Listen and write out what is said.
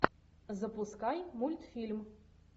запускай мультфильм